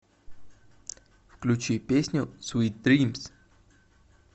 включи песню свит дримс